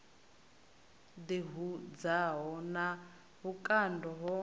ḓi hudzaho na vhukando ho